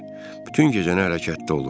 Bütün gecəni hərəkətdə olur.